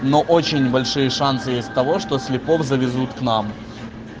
но очень небольшие шансы есть того что слепов завезут к нам